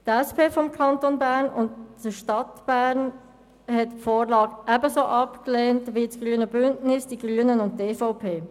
Die SP des Kantons Bern und der Stadt Bern haben die Vorlage ebenso abgelehnt wie das Grüne Bündnis, die Grünen und die EVP.